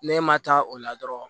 Ne ma taa o la dɔrɔn